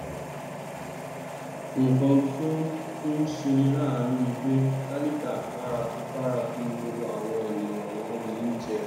nkan tó tún ṣeni láàánú ni pé tálíkà paraku paraku ni gbogbo àwọn ènìyàn wọnyí jẹ